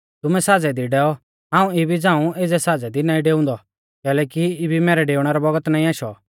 तुमै साज़ै दी डैऔ हाऊं इबी एज़ै साज़ै दी नाईं डेउंदौ कैलैकि इबी मैरै डेउणै रौ बौगत नाईं आशौ